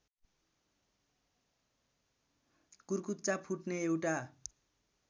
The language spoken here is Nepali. कुर्कुच्चा फुट्ने एउटा